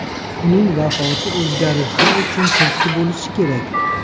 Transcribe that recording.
Uning vafoti o‘zgarishlar uchun turtki bo‘lishi kerak.